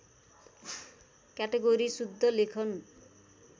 category शुद्धलेखन